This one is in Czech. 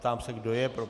Ptám se, kdo je pro.